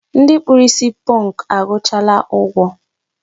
Ndị kpụrụ isi pọnkụ akwụchaala ụgwọ.